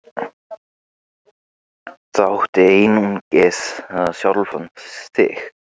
Það áttu einungis við sjálfan þig.